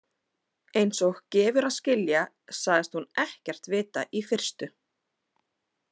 Einsog gefur að skilja sagðist hún ekkert vita í fyrstu.